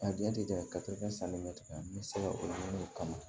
A diya tɛ dɛ san bɛ tigɛ n bɛ se ka o dɔn o kama